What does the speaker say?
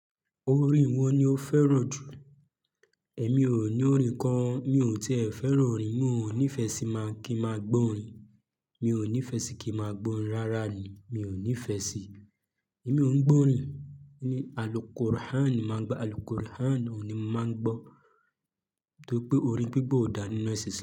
Orin wo ni o fẹ́ràn jù? Ẹ̀mi ò ní orin kan mi ò tì e fẹ́ràn orin, mi ò ní ìfẹ́ sí maa kí n máa gbọ́ orin, mi ò ní ìfẹ́ sí kí n máa gbọ́ orin rárá ni, mi ò ní ìfẹ́ sí. Èmi ò ń gbọ́ orin, àlùkùrihán ni màá gbá, àlùkùrihán ò ní máa n gbọ́, nítorí pé orin gbígbọ́ ò dá ninu esin islam.